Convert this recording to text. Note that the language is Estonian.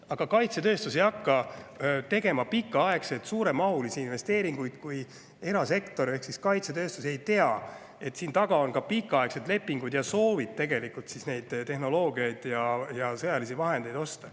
Aga kaitsetööstus ei hakka tegema pikaaegseid suuremahulisi investeeringuid, kui erasektor ehk siis kaitsetööstuses ei tea, et siin taga on pikaaegsed lepingud ja soov tegelikult neid tehnoloogiaid ja sõjalisi vahendeid osta.